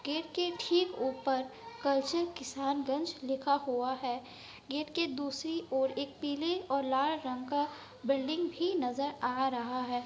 Gate के ठीक ऊपर कलचल किसनगंज लिखा हुआ है। गेट के दूसरी ओर एक पीले और लाल रंग का बिल्डिंग भी नजर आ रहा है।